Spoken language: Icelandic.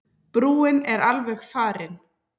Brúin er alveg farin.